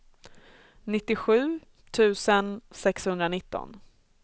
nittiosju tusen sexhundranitton